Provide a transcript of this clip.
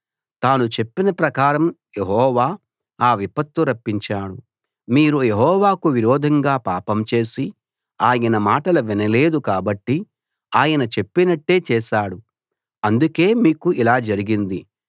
తాను చెప్పిన ప్రకారం యెహోవా ఆ విపత్తు రప్పించాడు మీరు యెహోవాకు విరోధంగా పాపం చేసి ఆయన మాటలు వినలేదు కాబట్టి ఆయన చెప్పినట్టే చేశాడు అందుకే మీకు ఇలా జరిగింది